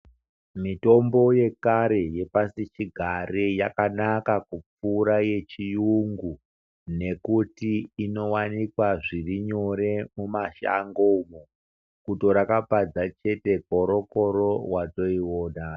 Mitombo yekare yepasichigare yakanaka kupfuura yechiyungu nekuti inowanikwa zvirinyore mumashango umwo, kutora kapadza chete koro koro watoiwona.